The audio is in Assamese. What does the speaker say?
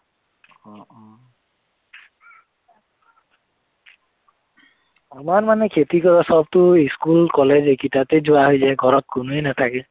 আমাৰ মানে খেতি কৰা সৱটো school college এইকেইটাতে যোৱা হয় যে ঘৰত কোনোৱেই নাথাকে